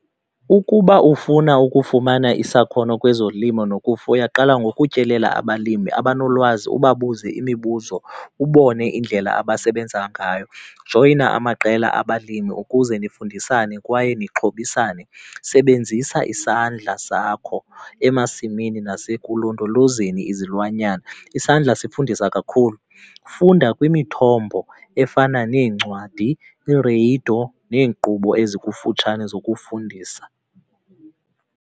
Ukuba ufuna ukufumana isakhono kwezolimo nokufuya qala ngokutyelela abalimi abanolwazi ubabuze imibuzo ubone indlela abasebenza ngayo. Joyina amaqela abalimi ukuze nifundisane kwaye nixhobisane. Sebenzisa isandla sakho emasimini nasekulondolozeni izilwanyana, isandla sifundisa kakhulu. Funda kwimithombo efana neencwadi, ireyido neenkqubo ezikufutshane zokufundisa.